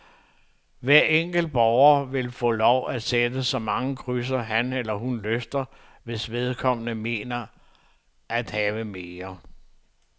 Hver enkelt borger vil få lov til at sætte så mange krydser, han eller hun lyster, hvis vedkommende mener at have mere